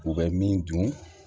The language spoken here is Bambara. U bɛ min dun